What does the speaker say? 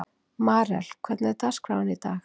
Marel, hvernig er dagskráin í dag?